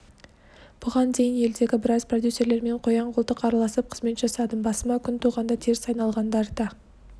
бұған дейін елдегі біраз продюсерлермен қоян-қолтық араласып қызмет жасадым басыма күн туғанда теріс айналғандары да